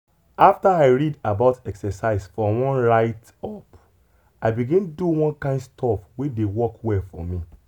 after i read about exercise for one write-up i begin do one kind stuff wey dey work well for me.